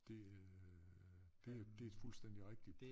Det øh det er det er fuldstændig rigtigt